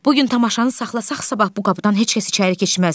Bu gün tamaşanı saxlasaq, sabah bu qapıdan heç kəs içəri keçməz.